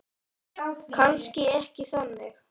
Kannski ekki þannig.